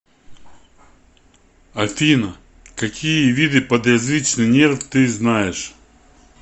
афина какие виды подъязычный нерв ты знаешь